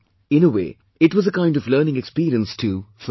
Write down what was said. In a way, It was a kind of a learning experience too for me